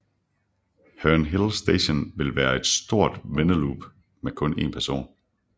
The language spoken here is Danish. Herne Hill Station vil være på et stort vendeloop med kun en perron